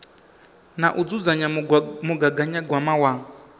na u dzudzanya mugaganyagwama wa